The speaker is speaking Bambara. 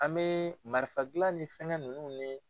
An bɛ marifadilan ni fɛnnkɛ ninnu ni